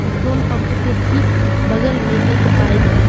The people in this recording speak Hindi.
पेट्रोल पंप के ठीक बगल में एक बाइक है।